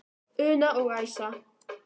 Una og Æsa.